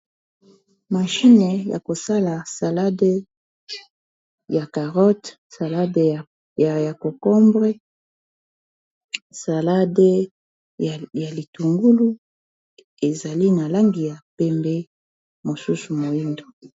Machine ya kosala salade ya carote, salade ya cokombre, salade ya litungulu. Ezali na langi ya pembe, mosusu mohindo.